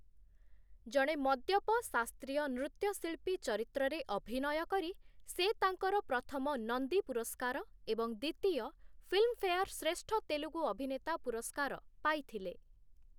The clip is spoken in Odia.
ଜଣେ ମଦ୍ୟପ ଶାସ୍ତ୍ରୀୟ ନୃତ୍ୟଶିଳ୍ପୀ ଚରିତ୍ରରେ ଅଭିନୟ କରି, ସେ ତାଙ୍କର ପ୍ରଥମ ନନ୍ଦୀ ପୁରସ୍କାର ଏବଂ ଦ୍ୱିତୀୟ ଫିଲ୍ମଫେୟାର ଶ୍ରେଷ୍ଠ ତେଲୁଗୁ ଅଭିନେତା ପୁରସ୍କାର ପାଇଥିଲେ ।